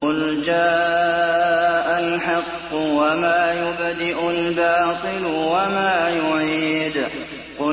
قُلْ جَاءَ الْحَقُّ وَمَا يُبْدِئُ الْبَاطِلُ وَمَا يُعِيدُ